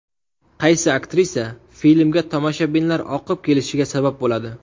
Qaysi aktrisa filmga tomoshabinlar oqib kelishiga sabab bo‘ladi.